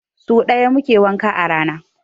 So ɗaya muke wanka a rana.